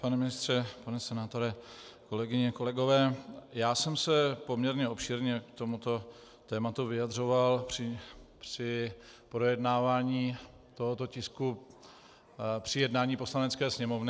Pane ministře, pane senátore, kolegyně, kolegové, já jsem se poměrně obšírně k tomuto tématu vyjadřoval při projednávání tohoto tisku při jednání Poslanecké sněmovny.